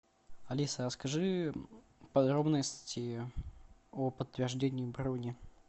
алиса а скажи подробности о подтверждении брони